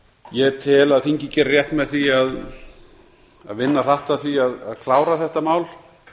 ég tel að þingið geri rétt með því a vinna hratt að því að klára þetta mál